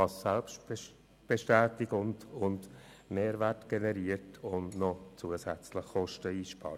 Das generiert Selbstbestätigung und Mehrwert und spart zudem noch Kosten ein.